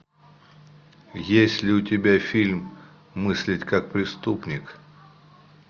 есть ли у тебя фильм мыслить как преступник